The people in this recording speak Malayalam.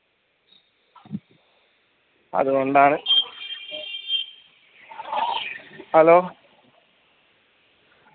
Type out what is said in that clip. അതുകൊണ്ടാണ് hello